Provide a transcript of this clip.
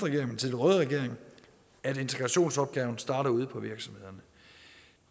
røde regering at integrationsopgaven starter ude på virksomhederne